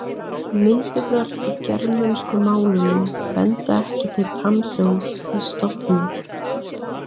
Myndirnar í germönsku málunum benda ekki til tannhljóðs í stofni.